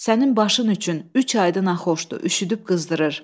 Sənin başın üçün üç aydı naxoşdu, üşüdüb qızdırır.